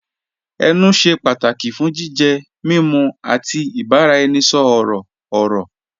Ẹnù ṣẹ́ pátàkì fún jìjẹ, mímú, àti ìbàraẹnisọ̀rọ̀ ọ̀rọ̀.